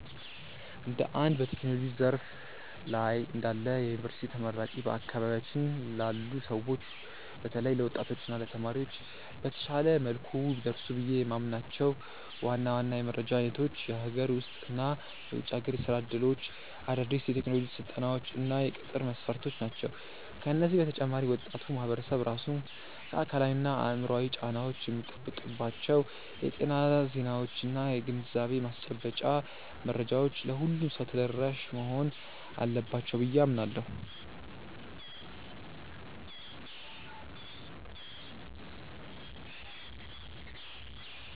እንደ አንድ በቴክኖሎጂው ዘርፍ ላይ እንዳለ የዩኒቨርሲቲ ተመራቂ፣ በአካባቢያችን ላሉ ሰዎች በተለይም ለወጣቶች እና ለተማሪዎች በተሻለ መልኩ ቢደርሱ ብዬ የምመኛቸው ዋና ዋና የመረጃ አይነቶች የሀገር ውስጥ እና የውጭ ሀገር የሥራ ዕድሎች፣ አዳዲስ የቴክኖሎጂ ስልጠናዎች እና የቅጥር መስፈርቶች ናቸው። ከዚህ በተጨማሪ ወጣቱ ማህበረሰብ ራሱን ከአካላዊና አእምሯዊ ጫናዎች የሚጠብቅባቸው የጤና ዜናዎችና የግንዛቤ ማስጨበጫ መረጃዎች ለሁሉም ሰው ተደራሽ መሆን አለባቸው ብዬ አምናለሁ።